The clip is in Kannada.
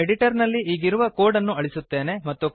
ನಾನು ಎಡಿಟರ್ ನಲ್ಲಿ ಈಗಿರುವ ಕೋಡ್ ಅನ್ನು ಅಳಿಸುತ್ತೇನೆ